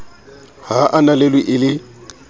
ha a ananelwe e le